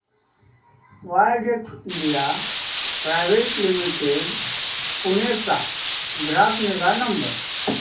Widex India private limited Pune चा ग्राहक निगा नंबर